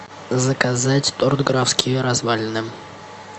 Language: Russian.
заказать торт графские развалины